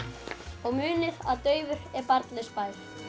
og munið að daufur er barnlaus bær